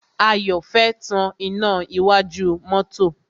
Ayọ̀ fẹ́ tan iná iwájú mọ́tọ́.